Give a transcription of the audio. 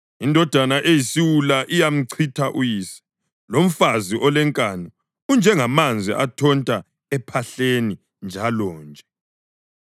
Indodana eyisiwula iyamchitha uyise, lomfazi olenkani unjengamanzi athonta ephahleni njalonje.